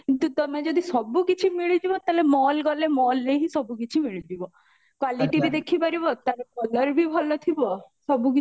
କିନ୍ତୁ ତମେ ଯଦି ସବୁ କିଛି ମିଳିଯିବ ତାହେଲେ mall ଗଲେ mallରେ ହିଁ ସବୁ କିଛି ମିଳିଯିବ qualityବି ଦେଖିପାରିବା ତାର color ବି ଭଲ ଥିବା ସବୁ